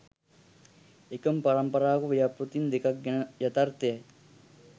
එකම පරම්පරාවක ව්‍යාපෘතීන් දෙකක් ගැන යථාර්ථයයි.